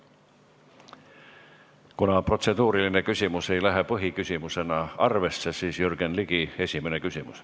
Kuna protseduuriline küsimus ei lähe põhiküsimusena arvesse, siis nüüd on Jürgen Ligil esimene küsimus.